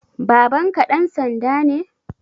Babanka ɗan sanda ne?